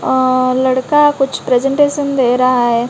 अह लड़का कुछ प्रजेंटेशन दे रहा है।